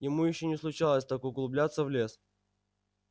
ему ещё не случалось так углубляться в лес